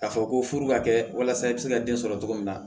K'a fɔ ko furu ka kɛ walasa i bɛ se ka den sɔrɔ cogo min na